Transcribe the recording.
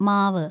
മാവ്